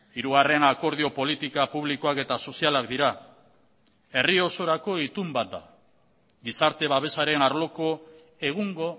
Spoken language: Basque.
hirugarren akordio politika publikoak eta sozialak dira herri osorako itun bat da gizarte babesaren arloko egungo